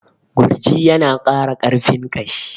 Gurji ya na ƙara ƙarfin ƙashi